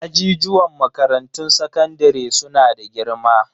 Ajijuwan makarantun sakandare su na da girma.